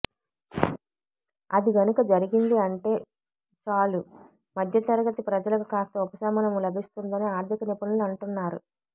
అది గనుక జరిగింది అంటే చాలు మధ్యతరగతి ప్రజలకు కాస్త ఉపశమనం లభిస్తుందని ఆర్ధిక నిపుణులు అంటున్నారు